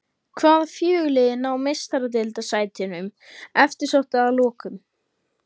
Hvaða fjögur lið ná Meistaradeildarsætunum eftirsóttu að lokum?